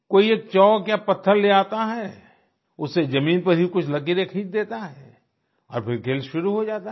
कोई एक चाल्क या पत्थर ले आता है उससे जमीन पर ही कुछ लकीरे खींच देता और फिर खेल शुरू हो जाता है